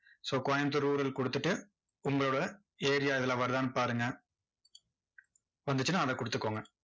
so Coimbatore rural கொடுத்துட்டு, உங்களோட area இதுல வருதான்னு பாருங்க. வந்துச்சுன்னா, அதை கொடுத்துக்கொங்க